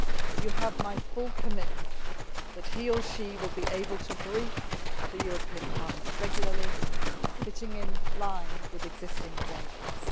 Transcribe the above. You have my full commitment that he or she will be able to brief Parliament regularly, fitting in line with existing arrangements.